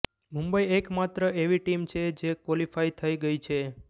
મુંબઈ એક માત્ર એવી ટીમ છે જે ક્વોલિફાય થઈ ગઈ છે